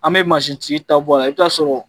An bɛ mansintigi ta bɔ a la i bɛ taa a sɔrɔ